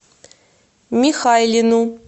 михайлину